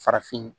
Farafin